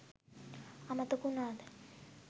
අමතක වුනාද?